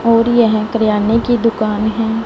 और यह करियाने की दुकान है।